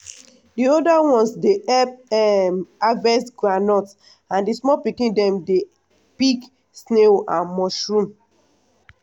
the older ones dey help um harvest groundnut and the small pikin dem dey pick snail and mushroom.